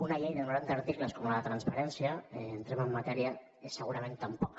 una llei de noranta articles com la de la transparència entrem en matèria segurament tampoc